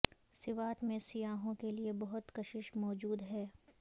سوات میں سیاحوں کے لیے بہت کشش موجود ہے